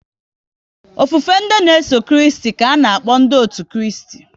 Ofufe ndị n'eso Kristi ka ana-akpọ